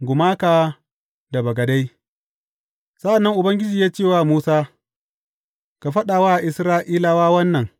Gumaka da bagadai Sa’an nan Ubangiji ya ce wa Musa, Ka faɗa wa Isra’ilawa wannan.